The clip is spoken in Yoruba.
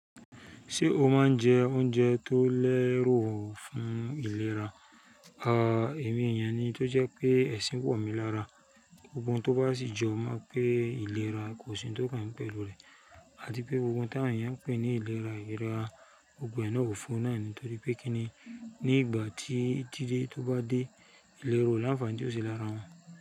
Ṣé o máa ń jẹ oúnjẹ tó lẹ́rù fún ìlera? À, èmi èèyàn ni tó jẹ́ pé ẹ̀sìn wọ̀ mi lára. Gbogbo ohun tó bá sì jọ mọ pé ìlera kò sí n tó kàn mi pẹ̀lú rẹ̀. Àti pé gbogbo n táwọn èèyàn ń pè ní ìlera ìlera, gbogbo náà òfo náà ni torí pé kíni ní ìgbà tí dídé tó bá dé, ìlérò ó láǹfààní tió ṣe lára wọn.